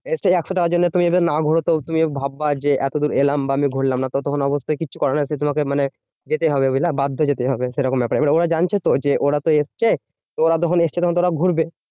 এ একশো টাকার জন্য তুমি যদি না ঘোরো, তো তুমি ভাববা যে, এতদূর এলাম বা আমি ঘুরলাম না। তো তখন অবস্থায় কিচ্ছু করার নেই, সেই তোমাকে মানে যেতে হবে বুঝলা বাধ্য যেতে হবে। সেরকম ব্যাপার এবার ওরা জানছে তো যে, ওরা তো এসেছে তো ওরা যখন এসছে তখন ওরা ঘুরবে।